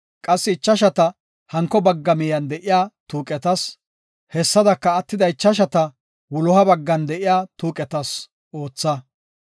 qassi ichashata hanko bagga miyen de7iya tuuqetas, hessadaka attida ichashata wuloha baggan de7iya tuuqetas ootha.